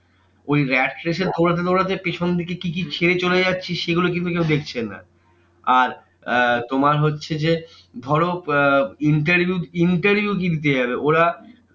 ওই rat race এ দৌড়াতে দৌড়াতে পেছন দিকে কি কি ছেড়ে চলে যাচ্ছি, সেগুলো কিন্তু কেউ দেখছে না। আর আহ তোমার হচ্ছে যে, ধরো আহ interview interview কি দিতে যাবে? ওরা